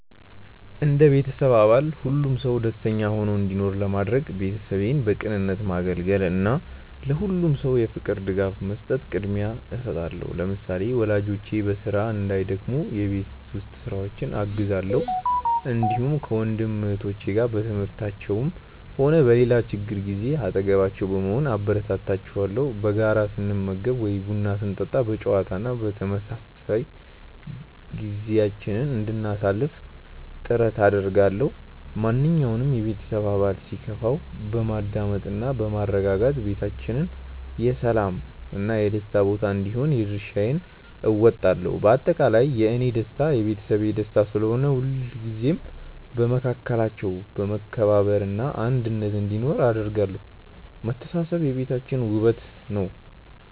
እንደ ቤተሰብ አባል ሁሉም ሰው ደስተኛ ሆኖ እንዲኖር ለማድረግ፣ ቤተሰቤን በቅንነት ማገልገልን እና ለሁሉም ሰው የፍቅር ድጋፍ መስጠትን ቅድሚያ እሰጣለሁ። ለምሳሌ፣ ወላጆቼ በስራ እንዳይደክሙ የቤት ውስጥ ስራዎችን አግዛለሁ፣ እንዲሁም ከወንድም እህቶቼ ጋር በትምህርታቸውም ሆነ በሌላ ችግራቸው ጊዜ አጠገባቸው በመሆን አበረታታቸዋለሁ። በጋራ ስንመገብ ወይም ቡና ስንጠጣ በጨዋታ እና በመተሳሰብ ጊዜያችንን እንድናሳልፍ ጥረት አደርጋለሁ። ማንኛውም የቤተሰብ አባል ሲከፋው በማዳመጥ እና በማረጋጋት ቤታችን የሰላም እና የደስታ ቦታ እንዲሆን የድርሻዬን እወጣለሁ። በአጠቃላይ፣ የእኔ ደስታ የቤተሰቤ ደስታ ስለሆነ፣ ሁልጊዜም በመካከላችን መከባበር እና አንድነት እንዲኖር አደርጋለሁ። መተሳሰብ የቤታችን ውበት ነው።